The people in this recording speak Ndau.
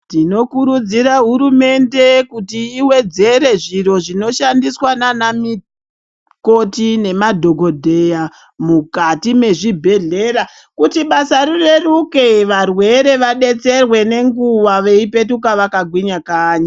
Tinokurudzira hurumende kuti ivedzere zviro zvinoshandiswa ndiana mikoti nemadhogodheya mukati mezvibhedhleya. Kuti basa rireruke varwere vabetserwe nenguva vapetuke vakagwinya kanyi.